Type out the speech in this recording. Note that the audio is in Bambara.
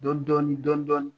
Dɔɔn dɔɔnin dɔɔn dɔɔnin.